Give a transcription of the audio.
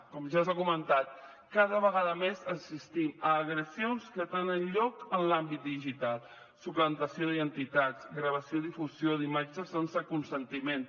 com ja s’ha comentat cada vegada més assistim a agressions que tenen lloc en l’àmbit digital suplantació d’identitat gravació i difusió d’imatges sense consentiment